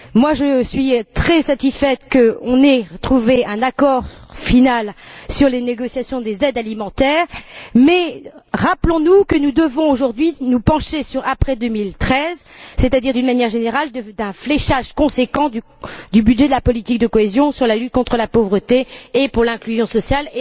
Je suis également très satisfaite qu'on ait trouvé un accord final sur les négociations concernant les aides alimentaires, mais rappelons nous que nous devons aujourd'hui nous pencher sur l'après 2013, c'est à dire d'une manière générale sur un fléchage conséquent du budget de la politique de cohésion pour la lutte contre la pauvreté et l'inclusion sociale.